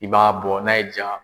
I b'a bɔ n'a y'i ja.